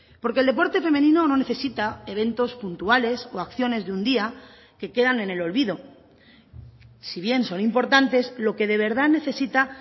porque el deporte femenino no necesita eventos puntuales o acciones de un día que quedan en el olvido si bien son importantes lo que de verdad necesita